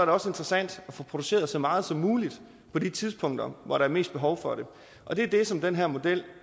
også interessant at få produceret så meget som muligt på de tidspunkter hvor der er mest behov for det og det er det som den her model